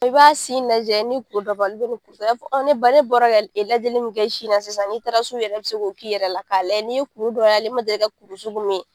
I b'a sin lajɛ ni kuru dɔ b'a la ni kuru t'a la i b'a fɔ ne ba ne bɔra ka lajɛli min kɛ sisan n'i taara so yɛrɛ i bɛ se k'o k'i yɛrɛ la k'a lajɛ n'i ye kuru dɔ y'a la i man deli ka kuru sugu